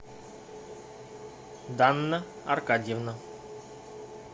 данна аркадьевна